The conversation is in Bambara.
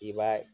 I b'a